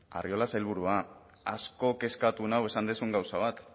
arriola sailburua asko kezkatu nau esan duzun gauza bat